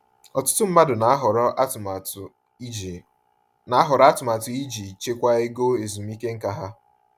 Ọtụtụ mmadụ na-ahọrọ atụmatụ iji na-ahọrọ atụmatụ iji chekwaa ego ezumike nká ha.